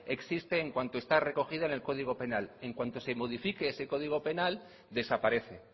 existe en cuanto está recogido en el código penal en cuanto se modifique ese código penal desaparece